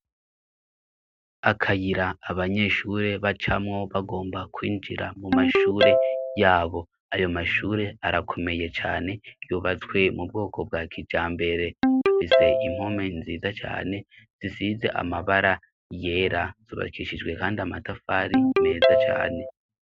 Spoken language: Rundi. Akayira abanyeshure ba camwo bagomba kwinjira mu mashure yabo ayo mashure arakomeye cane yubatswe mu bwoko bwa kija mbere afise impome nziza cane zisize amabara yera zubakishijwe, kandi amatafari meza cane.